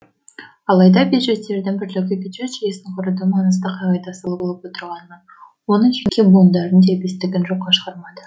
алайда бюджеттердің бірлігі бюджет жүйесін құрудың маңызды қағидаты болып отырғанын оның жеке буындарының дербестігін жокка шығармады